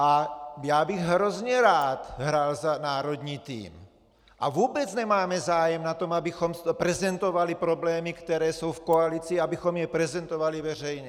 A já bych hrozně rád hrál za národní tým a vůbec nemáme zájem na tom, abychom prezentovali problémy, které jsou v koalici, abychom je prezentovali veřejně.